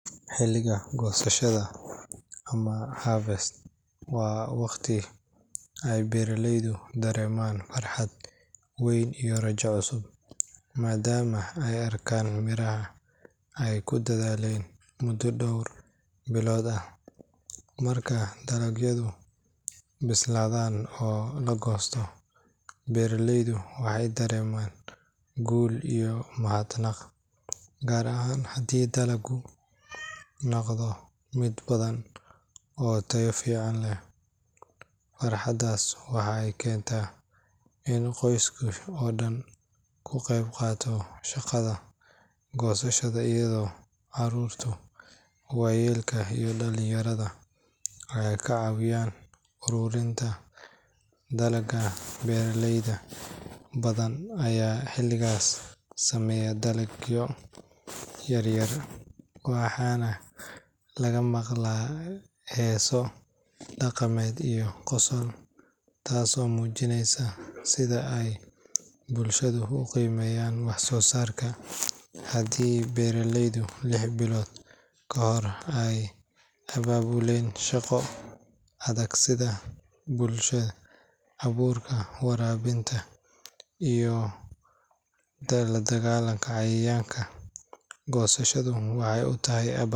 Xilliga goosashada ama harvest waa waqti ay beeraleydu dareemaan farxad weyn iyo rajo cusub, maadaama ay arkaan miraha ay ku dadaaleen muddo dhowr bilood ah. Markay dalagyadu bislaadaan oo la goosto, beeraleyda waxay dareemaan guul iyo mahadnaq, gaar ahaan haddii dalaggu noqdo mid badan oo tayo fiican leh. Farxaddaas waxay keentaa in qoyska oo dhan uu ka qayb qaato shaqada goosashada iyadoo carruurta, waayeelka iyo dhalinyarada ay ka caawiyaan ururinta dalagga. Beeraley badan ayaa xilligaas sameeya dabaaldegyo yaryar, waxaana laga maqlaa heeso dhaqameed iyo qosol, taasoo muujinaysa sida ay bulshada u qiimeeyaan wax-soo-saarka. Haddii beeraleyda lix bilood ka hor ay abaabuleen shaqo adag sida abuurka, waraabinta, iyo la dagaallanka cayayaanka, goosashadu waxay u tahay abaal.